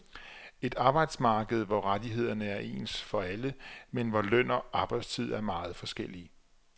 Et arbejdsmarked, hvor rettighederne er ens for alle, men hvor løn og arbejdstid er meget forskellige.